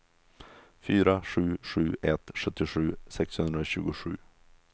fyra sju sju ett sjuttiosju sexhundratjugosju